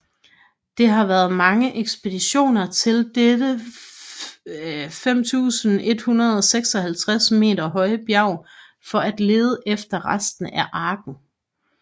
Der har været mange ekspeditioner til dette 5156 m høje bjerg for at lede efter rester af arken